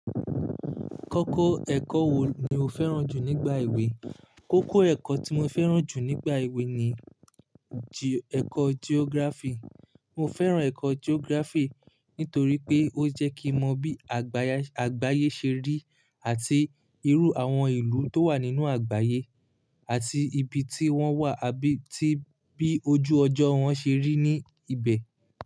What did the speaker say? Kọ́kọ́ ẹ̀kọ́ wo ni o fẹ́ràn jù nígbà ewé? Kọ́kọ́ ẹ̀kọ́ tí mo fẹ́ràn jù nígbà ewé ni ji-ẹ̀kọ́ geography. Mo fẹ́ràn ẹ̀kọ́ geography nítorí pé ó jẹ́ kí n mọ bí àgbáyé ṣe rí àti irú àwọn ìlú tó wà nínú àgbáyé, àti ibi tí wọ́n wà àbí tí bí ojú ọjọ́ wọn ṣe rí ní ibẹ̀.